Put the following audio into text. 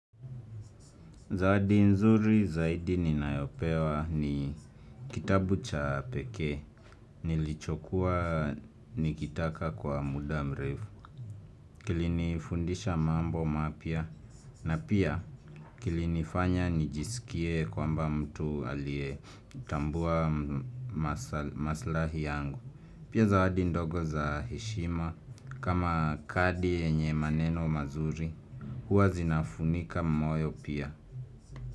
Zawadi nzuri zaidi ninayopewa ni kitabu cha pekee nilichokua nikitaka kwa muda mrefu. Kilini fundisha mambo mapya na pia kilini fanya nijisikie kwamba mtu alie tambua maslahi yangu. Pia zawadi ndogo za heshima kama kadi yenye maneno mazuri huwa zinafunika moyo pia.